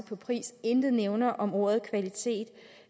på pris og intet nævner om ordet kvalitet